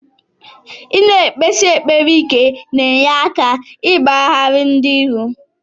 Ina ekpesi ekpere ike na enye aka igbanari ndi iro.